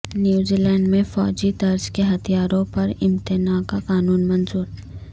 New Zealand میں فوجی طرز کے ہتھیاروں پر امتناع کا قانون منظور